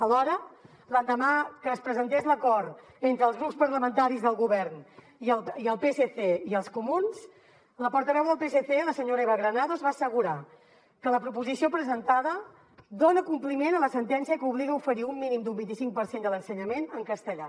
alhora l’endemà que es presentés l’acord entre els grups parlamentaris del govern i el psc i els comuns la portaveu del psc la senyora eva granados va assegurar que la proposició presentada dona compliment a la sentència que obliga a oferir un mínim d’un vint i cinc per cent de l’ensenyament en castellà